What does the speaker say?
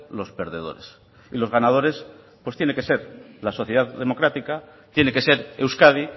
los perdedores y los ganadores pues tiene que ser la sociedad democrática tiene que ser euskadi